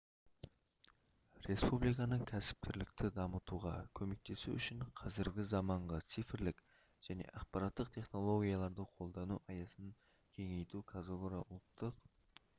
республиканың кәсіпкерлікті дамытуға көмектесу үшін қазіргі заманғы цифрлық және ақпараттық технологияларды қолдану аясын кеңейту қазагро ұлттық